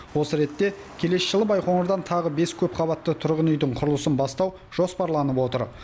осы ретте келесі жылы байқоңырдан тағы бес көпқабатты тұрғын үйдің құрылысын бастау жоспарланып отыр